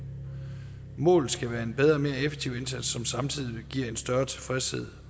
målet skal være en bedre og mere effektiv indsats som samtidig giver en større tilfredshed